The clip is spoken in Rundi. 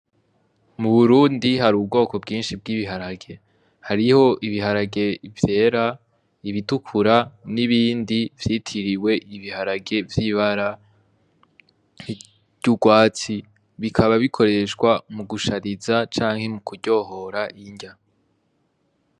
Mu Burundi hari ubwoko bwinshi bw'ibiharage hariho ibiharage vyera ibitukura nibindi vyitiriwe ibiharage vyibara ry'urwatsi bikaba bikoreshwa mu gushariza canke mu kuryohora irya